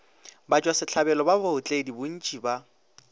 batšwasehlabelo ba baotledi bontši ba